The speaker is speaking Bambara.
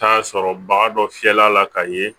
Taa sɔrɔ baga dɔ fiyɛla ka ye